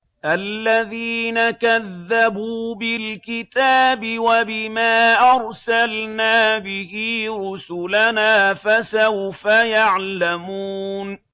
الَّذِينَ كَذَّبُوا بِالْكِتَابِ وَبِمَا أَرْسَلْنَا بِهِ رُسُلَنَا ۖ فَسَوْفَ يَعْلَمُونَ